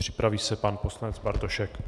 Připraví se pan poslanec Bartošek.